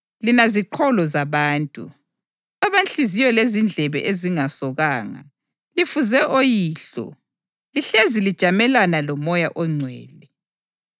Lina ziqholo zabantu, abanhliziyo lezindlebe ezingasokanga! Lifuze oyihlo: Lihlezi lijamelene loMoya oNgcwele!